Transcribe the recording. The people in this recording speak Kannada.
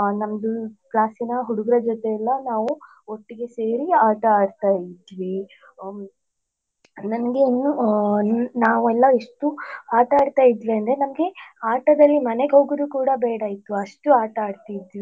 ಅ ನಮ್ದು classಸಿನ ಹುಡುಗುರ ಜೊತೆ ಎಲ್ಲ ನಾವು ಒಟ್ಟಿಗೆ ಸೇರಿ ಆಟ ಆಡ್ತಾ ಇದ್ವಿ ನನ್ಗೆ ಇನ್ನು ನಾವೆಲ್ಲ ಎಷ್ಟು ಆಟ ಆಡ್ತಾ ಇದ್ವಿ ಅಂದ್ರೆ ನಮ್ಗೆ ಆಟದಲ್ಲಿ ಮನೆಗೆ ಹೋಗುದು ಕೂಡ ಬೇಡ ಇತ್ತು ಅಷ್ಟು ಆಟಾಡ್ತಿದ್ವಿ.